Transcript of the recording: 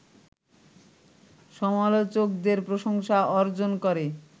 সমালোচকদের প্রশংসা অর্জন করে